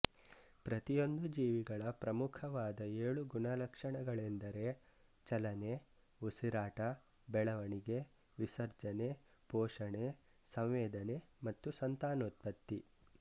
ಪ್ರತಿಯೊಂದು ಜೀವಿಗಳ ಪ್ರಮುಖವಾದ ಏಳು ಗುಣಲಕ್ಷಣಗಳೆಂದರೆ ಚಲನೆಉಸಿರಾಟಬೆಳವಣಿಗೆವಿಸರ್ಜನೆಪೋಷಣೆಸಂವೇದನೆ ಮತ್ತು ಸಂತಾನೋತ್ಪತ್ತಿ